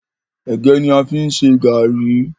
ẹgẹ ní a fí n ṣe garri.